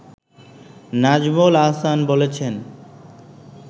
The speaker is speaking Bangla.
নাজমুল আহসান বলেছেন